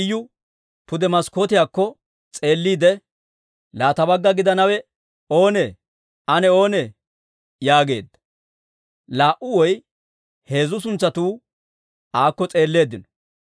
Iyu pude maskkootiyaakko s'eelliide, «Laa ta bagga gidanawe oonee? Ane oonee?» yaageedda. Laa"u woy heezzu suntsatuu aakko s'eelleeddino.